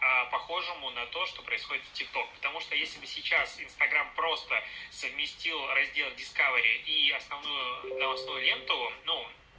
а похожему на то что происходит в тик ток потому что если бы сейчас инстаграм просто совместил раздел дискавери и основную новостную ленту ну